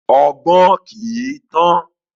Ọgbọ́n kii tán